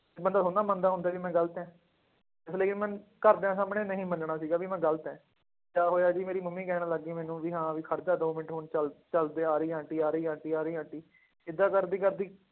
ਤੇ ਬੰਦਾ ਥੋੜ੍ਹੀ ਨਾ ਮੰਨਦਾ ਹੁੰਦਾ ਵੀ ਮੈਂ ਗ਼ਲਤ ਹੈ, ਇਸ ਲਈ ਮੈਂ ਘਰਦਿਆਂ ਸਾਹਮਣੇ ਨਹੀਂ ਮੰਨਣਾ ਸੀਗਾ ਵੀ ਮੈਂ ਗ਼ਲਤ ਹੈ, ਕਿਆ ਹੋਇਆ ਜੀ ਮੇਰੀ ਮੰਮੀ ਕਹਿਣ ਲੱਗ ਗਈ ਮੈਨੂੰ ਵੀ ਹਾਂ ਵੀ ਖੜ ਜਾ ਦੋ ਮਿੰਟ ਹੁਣ ਚੱਲ ਚੱਲ ਤੇ ਆ ਰਹੀ ਆ ਆਂਟੀ, ਆ ਰਹੀ ਆਂਟੀ, ਆ ਰਹੀ ਆਂਟੀ ਏਦਾਂ ਕਰਦੀ ਕਰਦੀ